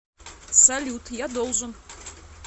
салют я должен